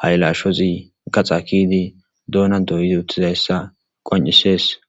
haylashozi gaxa kiidi duuna dooyizi uttizayssa qonccisees.